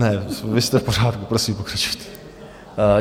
Ne, vy jste v pořádku, prosím, pokračujte.